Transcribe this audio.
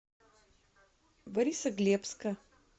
борисоглебска